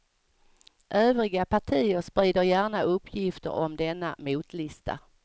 Övriga partier sprider gärna uppgifter om denna motlista.